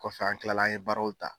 Kɔfɛ an kilala an ye baaraw ta.